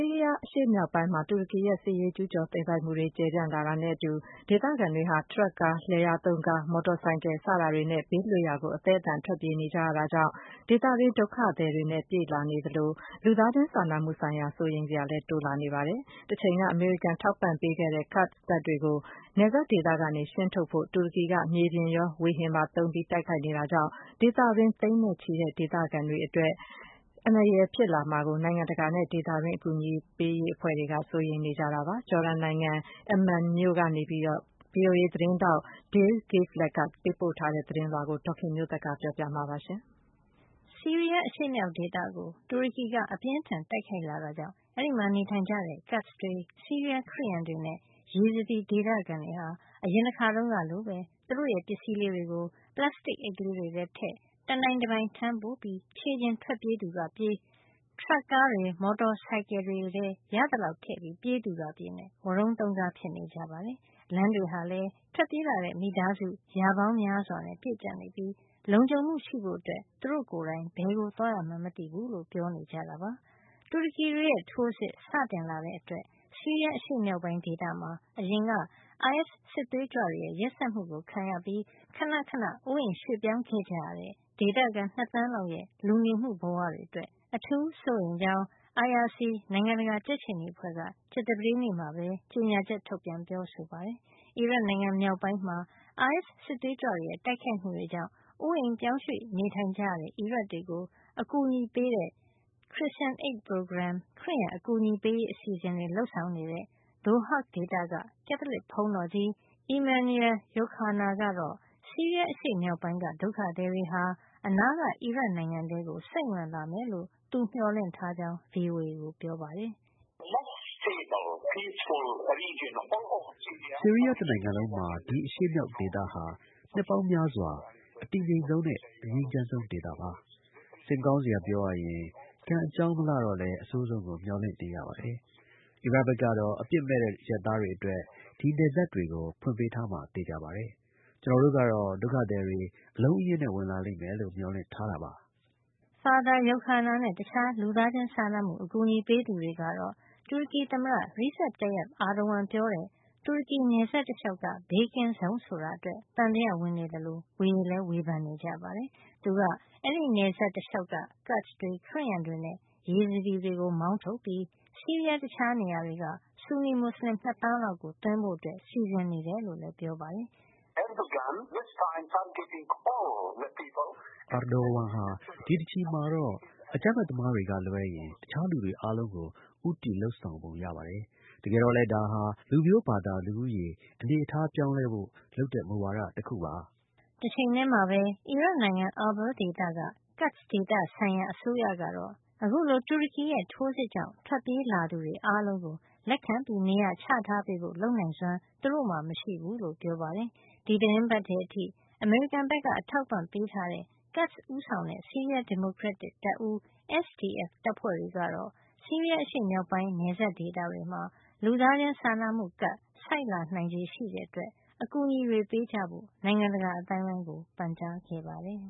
ီးရီးယား အရှေ့မြောက်ပိုင်းမှာ တူရကီရဲ့ စစ်ရေးကျူးကျော်သိမ်းပိုက်မှုတွေ ကျယ်ပြန့်လာတာနဲ့အတူ ဒေသခံတွေဟာ ထရပ်ကားတွေ၊ လယ်ယာသုံးကားတွေ၊ မော်တော်ဆိုင်ကယ်တွေနဲ့ ဘေးလွတ်ရာ အသဲအသန်ထွက်ပြေးကြရတာကြောင့် ဒေသတွင်းဒုက္ခသည်တွေနဲ့ ပြည့်လာသလို လူသားချင်းစာနာမှုဆိုင်ရာ စိုးရိမ်စရာလည်းတိုးလာနေပါတယ်။ တချိန်က အမေရိကန်ထောက်ပံ့မှုပေးခဲ့တဲ့ Kurds တပ်တွေကို နယ်စပ်ဒေသကနေ ရှင်းထုတ်ဖို့ တူရကီက မြေပြင်ထိုးစစ်တွေရော လေကြောင်းတိုက်ခိုက်မှုတွေပါ လုပ်နေတာကြောင့် ဒေသတွင်း သိန်းနဲ့ချီတဲ့ဒေသခံတွေအတွက် အန္တရာယ်ဖြစ်လာမှာကို နိုင်ငံတကာနဲ့ ဒေသတွင်း အကူအညီပေးရေး အဖွဲ့တွေက စိုးရိမ်နေကြတာပါ။ Jordan နိုင်ငံ Amman က VOA သတင်းထောက် Dale Gavlak ပေးပို့ထားတဲ့ သတင်းကို ဒေါ်ခင်မျိုးသက်က ပြောပြပေးမှာပါ။ ဆီးရီးယား အရှေ့မြောက်ဒေသကို တူရကီက အပြင်းအထန် တိုက်ခိုက်လာတာကြောင့် အဲဒီမှာ နေထိုင်ကြတဲ့ Kurds တွေ ဆီးရီးယားခရစ်ယန်တွေနဲ့ Yazidi ဒေသခံတွေဟာ အရင်တခါတုန်းကလိုပဲ သူတို့ရဲ့ပစ္စည်းလေးတွေကို ပလပ်စတစ်အိတ်လေးတွေထဲထည့် တနိုင်တပိုင် ထမ်းပိုးပြီး ခြေကျင်ထွက်ပြေးသူက ထွက်ပြေး၊ ထရပ်ကားတွေ မော်တော်ဆိုင်ကယ်တွေထဲ ရသလောက် ထည့်ပြီးပြေးသူက ပြေးနဲ့ ဝရုန်းသုန်းကား ဖြစ်နေကြပါတယ်။ လမ်းတွေဟာလည်း ထွက်ပြေးလာတဲ့ မိသားစု ရာပေါင်းများစွာနဲ့ ပြည့်ကြပ်နေပြီး လုံခြုံမှုရှိဖို့ သူတို့ကိုယ်တိုင် ဘယ်ကိုသွားရမှန်း မသိဘူးလို့ ပြောနေကြတာပါ။ တူရကီတွေရဲ့ ထိုးစစ် စတင်လာတဲ့အတွက် ဆီးရီးယားအရှေ့မြောက်ပိုင်း ဒေသမှာ အရင်ကအိုင်အက်စ် စစ်သွေးကြွတွေရဲ့ ရက်စက်မှုတွေ ခံခဲ့ရပြီး ခဏခဏ အိုးအိမ်ရွှေ့ပြောင်း ခဲ့ကြရတဲ့ ဒေသခံ ၂ သန်းလောက်ရဲ့ လူနေမှုဘဝတွေ အတွက် အထူးစိုးရိမ်ကြောင်း IRC နိုင်ငံတကာကြက်ခြေနီအဖွဲ့ က ကြာသပတေးနေ့မှာ ကြေညာချက် ထုတ်ပြန်ပြောဆိုပါတယ်။ အီရတ်နိုင်ငံမြောက်ပိုင်းမှာ အိုင်အက်စ် စစ်သွေးကြွတွေရဲ့ တိုက်ခိုက်မှုကြောင့် အိုးအိမ်ရွှေ့ပြောင်းကြရတဲ့ အီရတ်တွေကို အကူညီပေးတဲ့ Christian Aid Program ခရစ်ယံအကူညီပေးရေး အစီအစဉ်တွေ လုပ်ဆောင်နေတဲ့ Dohuk ဒေသက ကက်သလစ်ဘုန်းတော်ကြီး Emanuel Youkhana ကတော့ ဆီးရီးယာအရှေ့မြောက်ပိုင်းက ဒုက္ခသည်တွေဟာ အနားက အီရတ်နိုင်ငံထဲကို စိမ့်ဝင်လာမယ်လို့ သူမျှော်လင့်ထားကြောင်း VOA ကို ပြောပါတယ်။ “ဆီးရီးယားတနိုင်ငံလုံးမှာ ဒီအရှေ့မြောက်ဒေသဟာ နှစ်ပေါင်းများစွာ အတည်ငြိမ်ဆုံးနဲ့ အငြိမ်းချမ်းးဆုံးဒေသပါ။ စိတ်မကောင်းစရာ ပြောရရင် ကံအကြောင်း မလှတော့လည်း အဆိုးဆုံးကို မျှော်လင့်နေရပါတယ်။ အီရတ်ဘက်ကတော့ အပစ်မဲ့တဲ့ အရပ်သားတွေ အတွက် ဒီနယ်စပ်တွေကို ဖွင့်ပေးထားမှာ သေချာပါတယ်။ ကျနော်တို့ကတော့ ဒုက္ခသည်တွေ အလုံးအရင်းနဲ့ ဝင်လာမယ်လို့ မျှော်လင့်ထားတာပါ။” Father Youkhana နဲ့ တခြားလူသားချင်းစာနာမှု အကူညီပေးသူတွေကတော့ တူရကီသမ္မတ Recep Tayyip Erdogan ပြောတဲ့ တူရကီ နယ်စပ်တလျှောက်က ဘေးကင်းဇုံ ဆိုတာအတွက် သံသယဝင်နေသလို ဝေလည်းဝေဖန်နေကြပါတယ်။ သူက အဲဒီနယ်စပ်တလျှောက်က Kurds တွေ ခရစ်ယန်တွေနဲ့ Yazidis တွေကို မောင်းထုတ်ပြီး ဆီးရီးယား တခြားနေရာတွေက ဆူနီမူစလင် ၂ သန်းလောက်ကို သွင်းဖို့ စီစဉ် နေတယ် လို့လည်း ပြောပါတယ်။ “Erdogan ဟာ ဒီတချီမှာတော့ အကြမ်းဖက်သမားတွေကလွဲရင် တခြားလူတွေ အားလုံးကို ဦးတည်လုပ်ဆောင်ပုံ ရပါတယ်။ တကယ်တော့လည်း ဒါဟာ လူမျိုးဘာသာ လူဦးရေ အနေထားပြောင်းလဲဖို့ လုပ်တဲ့မူဝါဒ တခုပါ။” တချိန်ထဲမှာပဲ အီရတ်နိုင်ငံ Irbil ဒေသက Kurd ဒေသဆိုင်ရာအစိုးရကတော့ အခုလို တူရကီရဲ့ ထိုးစစ်ကြောင့် ထွက်ပြေးလာသူတွေ အားလုံးကို လက်ခံနေရာချထားပေးဖို့ လုပ်နိုင်စွမ်း သူတို့မှာ မရှိဘူးလို့ ပြောပါတယ်။ ဒီသီတင်းပတ်ထဲ အထိ အမေရိကန်က အထောက်ပံ့ပေးထားတဲ့ Kurds ဦးဆောင်တဲ့ ဆီးရီးယား ဒီမိုကရက်တစ် တပ်ဦး SDF တပ်ဖွဲ့တွေကတော့ ဆီးရီးယား အရှေ့မြောက်ပိုင်း နယ်စပ်ဒေသတွေမှာ လူသားစာနာမှုကပ် ဆိုက်နိုင်ချေ ရှိနေတဲ့အတွက် အကူညီတွေ ပေးကြဖို့ နိုင်ငံတကာ အသိုင်းအဝိုင်းကို ပန်ကြားခဲ့ပါတယ်